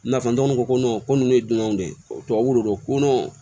N'a fɔ ntɔgɔn ko nunnu ye dunanw de ye tubabuw de dɔn ko nɔn